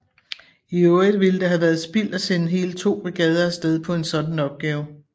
I øvrigt ville det have været spild at sende hele to brigader af sted på en sådan opgave